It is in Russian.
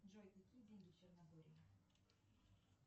джой какие деньги в черногории